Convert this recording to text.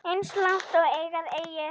Eins langt og augað eygir.